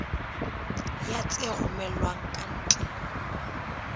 ya tse romellwang ka ntle